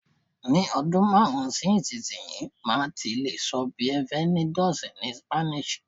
Ni ọdún márùn-ún sí ìsinyìí, màá ti lè sọ "Bienvenidos" ni Spanish